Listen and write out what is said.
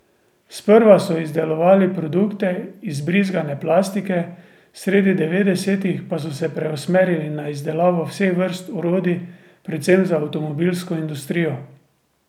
Sprva so izdelovali produkte iz brizgane plastike, sredi devetdesetih pa so se preusmerili na izdelavo vseh vrst orodij predvsem za avtomobilsko industrijo.